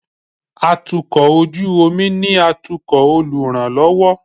atukọ̀ ojú omi ni atukò oluranlọwọ